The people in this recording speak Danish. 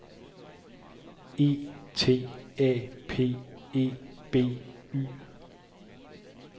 E T A P E B Y